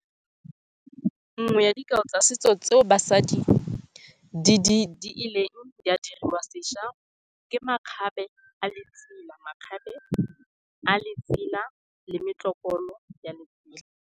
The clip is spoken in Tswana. Nngwe ya dikao tsa setso tseo basadi di ileng di a dirisa sesha ke makgabe a letsela. Makgabe a letsela le metlotlokolo ya letsela.